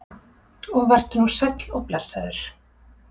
Og vertu nú sæll og blessaður.